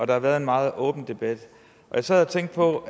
det har været en meget åben debat jeg sad og tænkte på